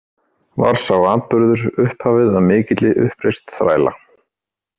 Var sá atburður upphafið að mikilli uppreisn þræla.